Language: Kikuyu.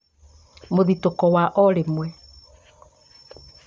mũthitũko wa o rĩmwe